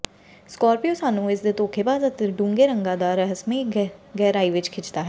Scorpio ਸਾਨੂੰ ਇਸ ਦੇ ਧੋਖੇਬਾਜ਼ ਅਤੇ ਡੂੰਘੇ ਰੰਗਾਂ ਨਾਲ ਰਹੱਸਮਈ ਗਹਿਰਾਈ ਵਿੱਚ ਖਿੱਚਦਾ ਹੈ